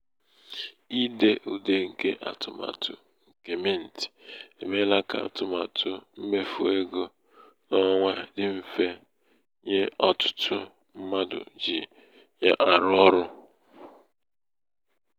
ide ude nke atụmatụ nke mint emeela ka atụmatụ mmefu ego n'ọnwa dị mfe nye ọtụtụ mmadụ ji ya arụ ọrụ.